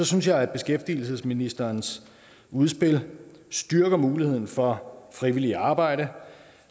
synes jeg beskæftigelsesministerens udspil styrker muligheden for frivilligt arbejde